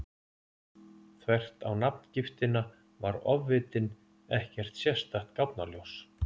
Þvert á nafngiftina var ofvitinn ekkert sérstakt gáfnaljós.